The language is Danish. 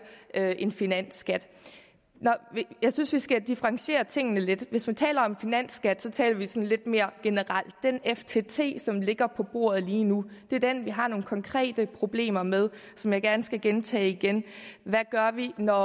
en finansskat jeg synes vi skal differentiere tingene lidt hvis vi taler om finansskat taler vi sådan lidt mere generelt den ftt som ligger på bordet lige nu er den vi har nogle konkrete problemer med som jeg gerne skal gentage igen hvad gør vi når